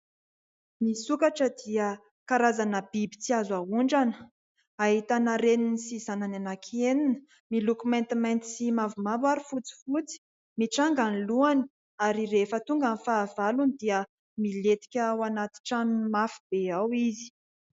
Ny sokatra dia karazana biby tsy azo aondrana, ahitana reny sy zanany anankienina miloko maintimainty sy mavomavo ary fotsifotsy. Mitranga ny lohany ary rehefa tonga ny fahavalony dia milentika ao anaty tranony mafy be ao izy.